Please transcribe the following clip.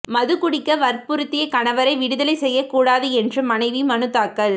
மதுகுடிக்க வற்புறுத்திய கணவரை விடுதலை செய்யக்கூடாது என்று மனைவி மனு தாக்கல்